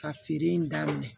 Ka feere in daminɛ